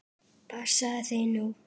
Passaðu þig nú!